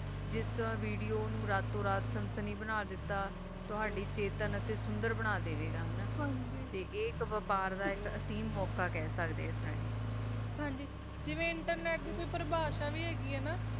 ਜਿਸ ਤਾਰਾ video ਨੂ ਰਾਤੋ ਰਾਤ ਸਨਸਨੀ ਬਣਾ ਦਿਤਾ ਤੋਹਾਦੀ ਸਤੀਆਂ ਤਾ ਸੁੰਦਰ ਬਣਾ ਦਵਾ ਗਾ ਤਾ ਏਹਾ ਬਪਾਰ ਦਾ ਹਸੀਨ ਮੋਕਾ ਖਾ ਸਕਦਾ ਆ ਹਨ ਜੀ ਜੀਵਾ internet ਪਰ੍ਬਾਸ਼ਾ ਵੀ ਹੈਗੀ ਆ